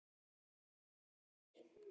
kalla þeir.